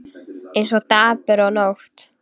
Eins og dagur og nótt.